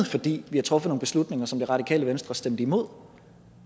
fordi vi har truffet nogle beslutninger som det radikale venstre stemte imod